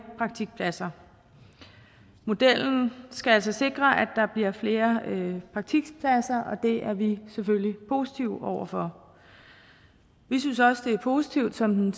praktikpladser modellen skal altså sikre at der bliver flere praktikpladser og det er vi selvfølgelig positive overfor vi synes også det er positivt som den